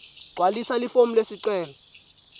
gcwalisa lifomu lesicelo